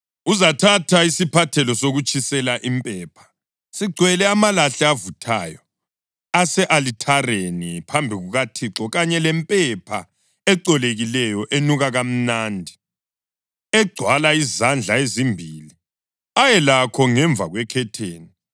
Uzathatha isiphathelo sokutshisela impepha sigcwele amalahle avuthayo ase-alithareni phambi kukaThixo kanye lempepha ecolekileyo enuka kamnandi egcwala izandla ezimbili, ayelakho ngemva kwekhetheni.